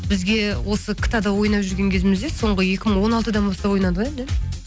бізге осы кта да ойнап жүрген кезімізде соңғы екі мың он алтыдан бастап ойнадық иә да